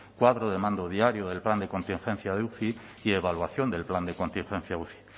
cuadro de mando diario del plan de contingencia de uci y evaluación del plan de contingencia uci